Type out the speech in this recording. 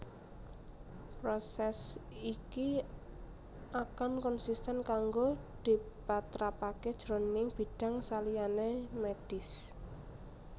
Prosès iki akan konsisten kanggo dipatrapaké jroning bidang saliyané mèdhis